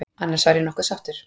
Annars var ég nokkuð sáttur.